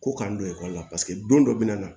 Ko k'an don ekɔli la paseke don dɔ bɛ na